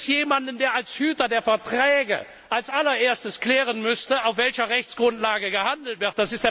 Übrigens gibt es jemanden, der als Hüter der Verträge als allererstes klären müsste, auf welcher Rechtsgrundlage gehandelt wird.